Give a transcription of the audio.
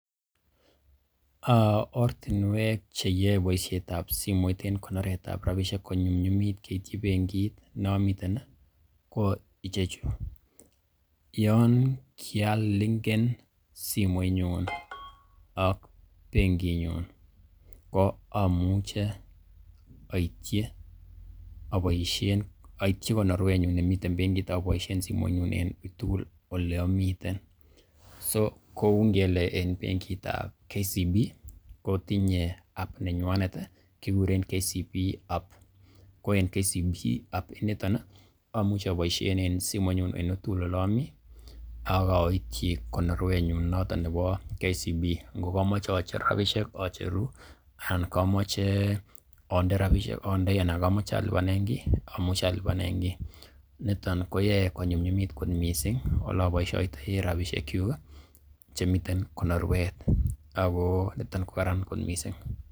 Ortinwek cheyoe boisiet ab simoit en konoret ab rabishek konyumnyumit keityi bengit ne omiten ko icheju: YO kialinken simoinyun ak benginyun ko amuche oityi konorwenyun nemiten bengit aboisien simoinyun enuitugul ole amiten, so kou ngele en bengit ab KCB ko tinye app nenywanet kiguren KCB App ko en KCB App initon ko mauche aboisien en simoinyun en uitugul ole omi ak oityi konorwenyun noton nebo KCB ngo komoche ocher rabishek acheru anan komoche ande rabishek andei anan komoche alipanen kiy oliponi. NIton koyae konyumnyumit kot mising ole aboisiotoi rabishek kyuk chemiten konorwet ago niton ko karan kot mising.